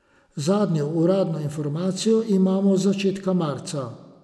Zadnjo uradno informacijo imamo z začetka marca.